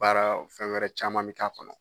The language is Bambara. Baara fɛn wɛrɛ caman mi k'a kɔnɔ.